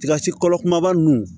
Tiga si kolo kumaba nunnu